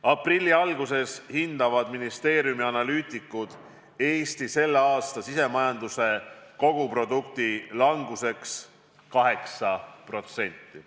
Aprilli alguses hindavad ministeeriumi analüütikud Eesti selle aasta sisemajanduse koguprodukti languseks 8%.